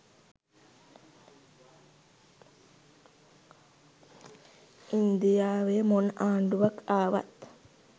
ඉන්දියාවෙ මොන ආණ්ඩුවක් ආවත්